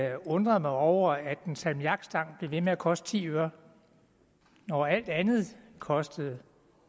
at jeg undrede mig over at en salmiakstang blev ved med at koste ti øre når alt andet kostede